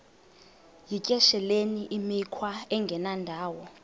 yityesheleni imikhwa engendawo